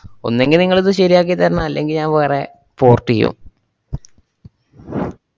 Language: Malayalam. ഒന്നുങ്കി നിങ്ങളിത് ശരിയാക്കിത്തരണം അല്ലെങ്കി ഞാൻ വേറെ port ചെയ്യും.